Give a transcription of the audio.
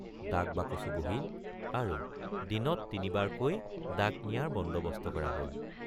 ডাকবাকচো বহিল আৰু দিনত তিনিবাৰকৈ ডাক নিয়াৰ বন্দৱস্ত কৰা হল।